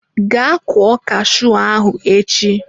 Gaa kụọ cashew ahụ echi!